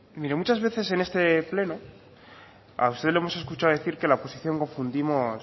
mire muchas veces en este pleno a usted le hemos escuchado decir que la oposición confundimos